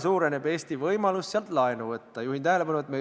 Kõige kohutavam on see, et selle juures on mingi riikidevaheline koostöö.